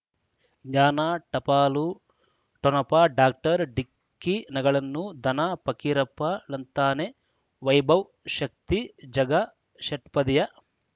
ಜ್ಞಾನ ಟಪಾಲು ಠೊಣಪ ಡಾಕ್ಟರ್ ಢಿಕ್ಕಿ ಣಗಳನು ಧನ ಫಕೀರಪ್ಪ ಳಂತಾನೆ ವೈಭವ್ ಶಕ್ತಿ ಝಗಾ ಷಟ್ಪದಿಯ